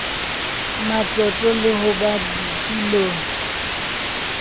matlotlo le ho ba ditulong